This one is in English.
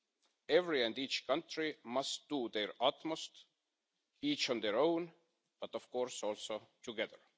Each and every country must do their utmost, each on their own, but of course also together.